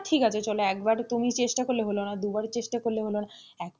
ঠিক আছে চলো একবার তুমি চেষ্টা করলে হলো না দুবার চেষ্টা করলে হলো না,